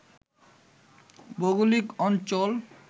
ভৌগলিক অঞ্চল